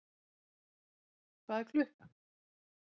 Hvað er klukkan?